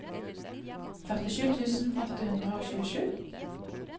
førtisju tusen åtte hundre og tjuesju